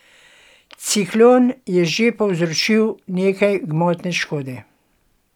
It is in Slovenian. Ciklon je že povzročil nekaj gmotne škode.